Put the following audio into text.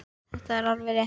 Þetta er alveg rétt.